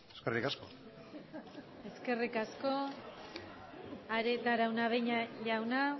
eskerrik asko eskerrik asko arieta araunabeña jauna